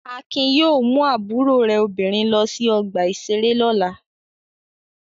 Akin yóò mú àbúrò rẹ̀ obìnrin lọ sí ọgbà-ìṣeré lọ́la!